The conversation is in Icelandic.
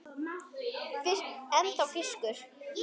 Ennþá fiskur.